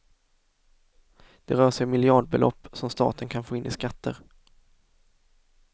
Det rör sig om miljardbelopp som staten kan få in i skatter.